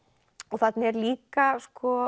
þarna er líka